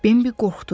Bimbi qorxdu.